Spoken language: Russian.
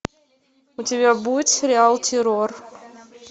у тебя будет сериал террор